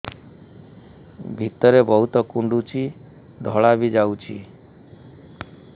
ଭିତରେ ବହୁତ କୁଣ୍ଡୁଚି ଧଳା ବି ଯାଉଛି